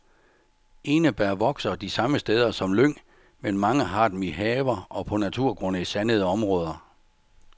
Enebær vokser de samme steder som lyng, men mange har dem i haver og på naturgrunde i sandede områder.